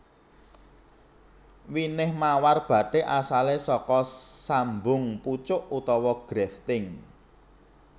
Winih mawar bathik asalé saka sambung pucuk utawa grafting